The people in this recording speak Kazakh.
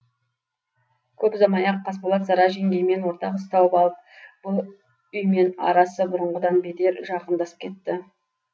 көп ұзамай ақ қасболат сара жеңгеймен ортақ іс тауып алып бұл үймен арасы бұрынғыдан бетер жақындасып кетті